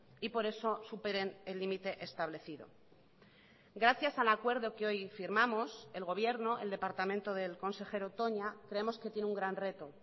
y por eso superen el límite establecido gracias al acuerdo que hoy firmamos el gobierno el departamento del consejero toña creemos que tiene un gran reto